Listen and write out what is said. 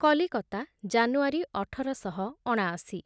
କଲିକତା ଜାନୁଆରୀ ଅଠର ଶହ ଅଣାଅଶୀରେ